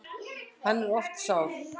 Hann er oft sár.